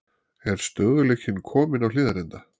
Er stöðugleikinn kominn á Hlíðarenda?